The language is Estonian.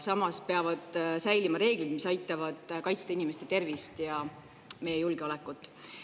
Samas peavad säilima reeglid, mis aitavad kaitsta inimeste tervist ja meie julgeolekut.